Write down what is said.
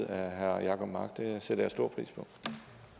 herre jacob mark det sætter jeg stor